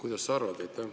Mida sa arvad?